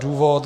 Důvod.